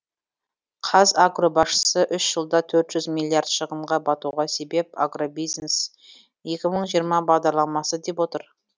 қазагро басшысы үш жылда төрт жүз миллиард шығынға батуға себеп агробизнес екі мың жиырма бағдарламасы деп отыр